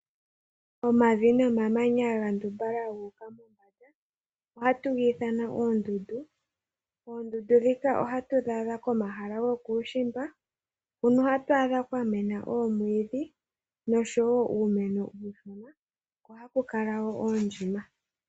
Omavi nomamanya gandumbala guka mombanda ohatu githana ondundu, ondundu dhika ohatu dhadha komahala gokuushimba hona hatwadha kwamena omwiidhi nosho wo uumeno uushona ohaku kala wo oondjima